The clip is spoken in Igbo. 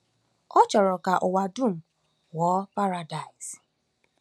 Ọ chọrọ ka ụwa dum ghọọ Paradaịs.